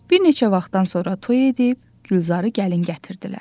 Bir neçə vaxtdan sonra toy edib, Gülzarı gəlin gətirdilər.